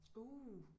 Uh